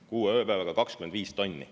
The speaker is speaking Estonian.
Kuue ööpäevaga 25 tonni.